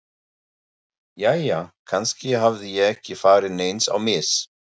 Jæja, kannski hafði ég ekki farið neins á mis.